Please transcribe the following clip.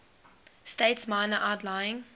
states minor outlying